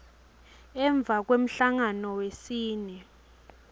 emva kwemhlangano wesine